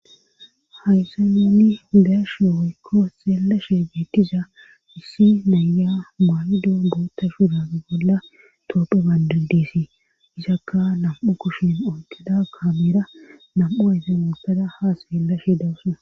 hayse muni dashe woykko seellashe beettiza issi naya maayido boota shurai bolla toophe baandidesi isakka nam7u kushin onkeda kaameera nam7u efe mootada haa seeellashe dawussuna